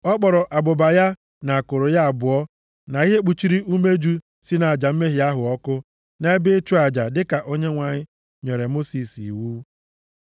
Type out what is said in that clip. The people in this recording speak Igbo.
Ọ kpọrọ abụba ya, na akụrụ ya abụọ, na ihe kpuchiri umeju si nʼaja mmehie ahụ ọkụ nʼebe ịchụ aja dịka Onyenwe anyị nyere Mosis iwu.